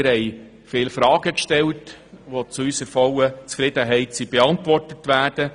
Wir haben viele Fragen gestellt, die zu unserer vollen Zufriedenheit beantwortet wurden.